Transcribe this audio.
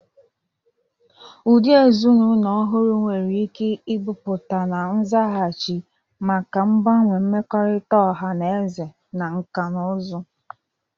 Ụdị ezinụlọ ọhụrụ nwere ike ịpụta na nzaghachi maka mgbanwe mmekọrịta ọha na eze na nkà na ụzụ.